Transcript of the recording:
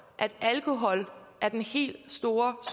at alkohol er den helt store